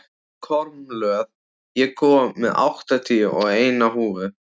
Kormlöð, ég kom með áttatíu og eina húfur!